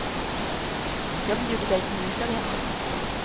Jag bjuder dig på middag hemma.